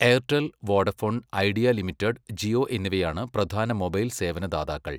Airtel, Vodafone Idea Limited, Jio എന്നിവയാണ് പ്രധാന mobile സേവന ദാതാക്കൾ.